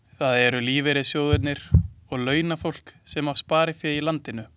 Það eru lífeyrissjóðirnir og launafólk sem á sparifé í landinu.